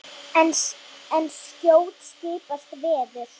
En skjótt skipast veður.